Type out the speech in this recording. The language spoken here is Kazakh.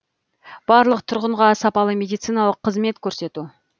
барлық тұрғынға сапалы медициналық қызмет көрсету